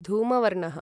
धूमवर्णः